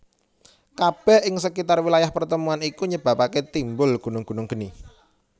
Kabeh ing sekitar wilayah pertemuan iku nyebabake timbul gunung gunung geni